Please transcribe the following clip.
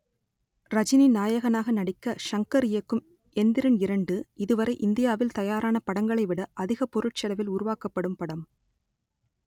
ரஜினி நாயகனாக நடிக்க ஷங்கர் இயக்கும் எந்திரன் இரண்டு இதுவரை இந்தியாவில் தயாரான படங்களைவிட அதிக பொருட்செலவில் உருவாக்கப்படும் படம்